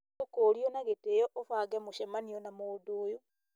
ũkũũrio na gĩtĩo ũbange mũcemanio na mũndũ ũyũ